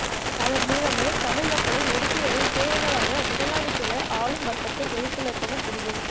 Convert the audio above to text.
அதன் மூலமே தமிழ் மக்களை ஒடுக்கி வரும் பேரினவாத முதலாளித்துவ ஆளும் வர்க்கத்தை எதிர்த்து நிற்கவும் முடியும்